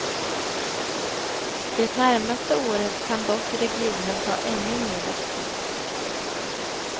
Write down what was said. Det närmaste året kan dock regionen ta ännu mera stryk.